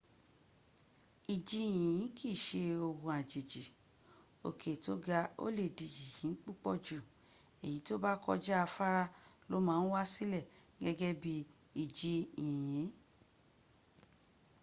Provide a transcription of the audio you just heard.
iji yinyin kii se ohun ajeji oke to ga o le di yinyin pupo ju eyi to ba koja afara lo ma n wa sile gege bii iji yinyi